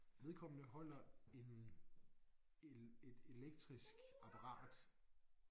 Vedkommende holder en el et elektrisk apparat